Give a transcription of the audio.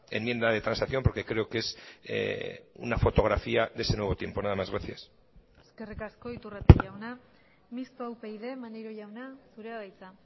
enmienda de transacción porque creo que es una fotografía de ese nuevo tiempo nada más gracias eskerrik asko iturrate jauna mistoa upyd maneiro jauna zurea da hitza